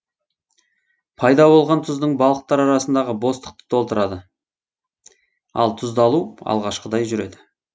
пайда болған тұздың балықтар арасындағы бостықты толтырады ал тұздалу алғашқыдай жүреді